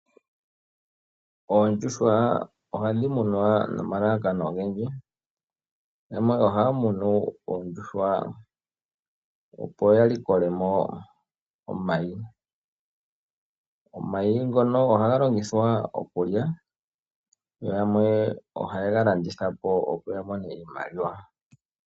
Oondjuhwa ohadhi munwa nomalalakano ogendji. Yamwe ohaya munu oondjuhwa opo ya likolemo omayi . Omayi ngono ohaga longithwa okulya yo yamwe oha yega landithapo opo yamone iimaliwa.